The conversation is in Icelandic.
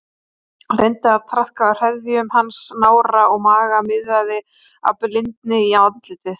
Reyndi að traðka á hreðjum hans, nára og maga, miðaði í blindni á andlitið.